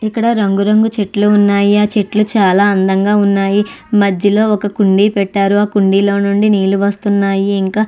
ఇక్కడ రంగురంగు చెట్లు ఉన్నాయి. ఆ చెట్లు చాలా అందంగా ఉన్నాయి. మధ్యలో ఒక కుండి పెట్టారు ఆ కుండీలో నుండి నీళ్లు వస్తున్నాయి ఇంకా --